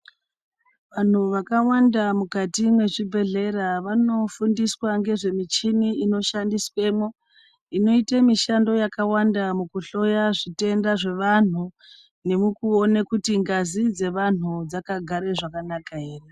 Vanhu vakawanda mukati mezvibhehlera ,vanofundiswa ngezvemuchini inoshandiswemwo .Inoite mushando yakawanda mukuhloya zvitenda zvevanhu nemukuona kuti ngazi dzevanhu dzakagare zvakanaka ere.